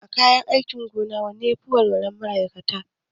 A kayan aikin gona wanne ne yafi wahalar mallaka?